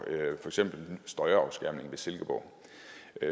eksempel støjafskærmning ved silkeborg